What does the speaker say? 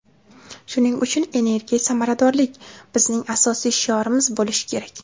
Shuning uchun energiya samaradorlik bizning asosiy shiorimiz bo‘lishi kerak.